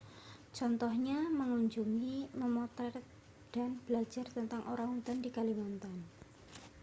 contohnya mengunjungi memotret dan belajar tentang orang utan di kalimantan